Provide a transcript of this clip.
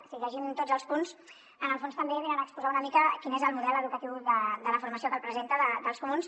si en llegim tots els punts en el fons també venen a exposar una mica quin és el model educatiu de la formació que la presenta dels comuns